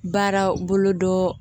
Baara bolo dɔ